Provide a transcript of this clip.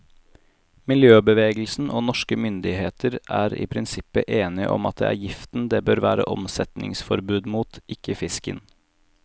Miljøbevegelsen og norske myndigheter er i prinsippet enige om at det er giften det bør være omsetningsforbud mot, ikke fisken.